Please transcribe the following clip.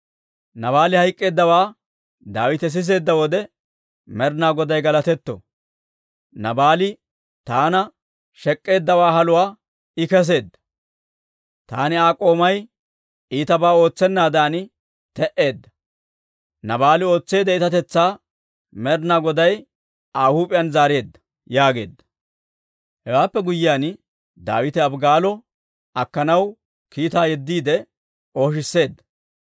Naabaali hayk'k'eeddawaa Daawite siseedda wode, «Med'inaa Goday galatetto! Naabaali taana shek'k'eeddawaa haluwaa I keseedda; taani Aa k'oomay iitabaa ootsennaadan te'eedda; Naabaali ootseedda itatetsaa Med'inaa Goday Aa huup'iyaan zaareedda» yaageedda. Hewaappe guyyiyaan, Daawite Abigaalo akkanaw kiitaa yeddiide ooshisseedda.